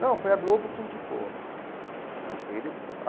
Não, foi a Globo que indicou ele falou.